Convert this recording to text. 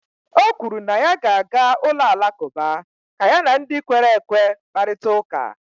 o kwuru na ya ga-aga ụlọ alakụba ka ya na ndị kwere ekwe kparịta ụka